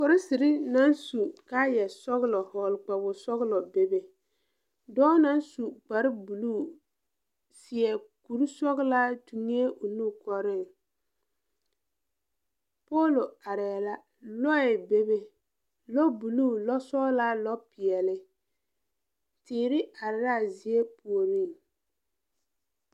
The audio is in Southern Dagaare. Polisiri naŋ su kaayԑ-sͻgelͻ vͻgele kpawo-sͻgelͻ bebe. Dͻͻ naŋ su kpare-buluu, seԑ kuri-sͻgelaa tuŋee o nu kͻreŋ. Poolo arԑԑ la. Lͻԑ bebe, lͻ-buluu lͻ-sͻgelaa, lͻ-peԑle. Teere are laa zie puoriŋ.